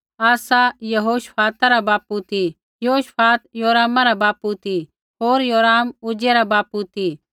आसा यहोशफाता रा बापू ती यहोशफात योरामा रा बापू ती होर योराम उज्जियाह रा बापू ती